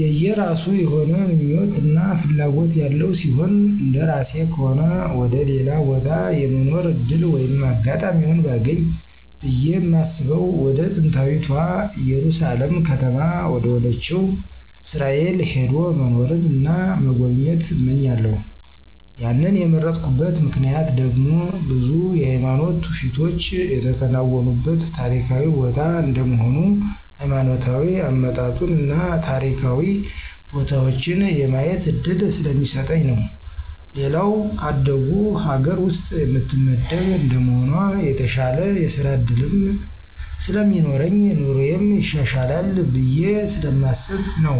የየራሱ የሆነ ምኞት እና ፍላጎት ያለው ሲሆን እንደራሴ ከሆነ ወደ ሌላ ቦታ የመኖር ዕድል ወይም አጋጣሚውን ባገኝ ብየ ማስበው ወደ ጥንታዊታ እየሩሳሌም ከተማ ወደሆነችው እስራኤል ሄዶ መኖርን እና መጎብኘት እመኛለሁ ያንን የመረጥኩበት ምክንያት ደግሞ ብዙ የሃይማኖት ትውፊቶች የተከናወኑበት ታሪካዊ ቦታ እንደመሆኑ ሀይማኖታዊ አመጣጡን እና ታሪካዊ ቦታዎችን የማየት እድል ስለሚሰጠኝ ነው። ሌላው ከአደጉ ሀገር ውስጥ የምትመደብ እንደመሆኗ የተሻለ የስራ ዕድልም ስለሚኖረኝ ኑሮየም ይሻሻላል ብየ ስለማስብ ነው።